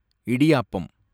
idiyappam